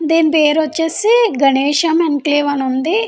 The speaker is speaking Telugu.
దీని పేరు వచ్చేసి గణేషు ఎంక్లేవ అని ఉంది.